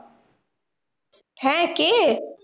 হ্যাঁ কে?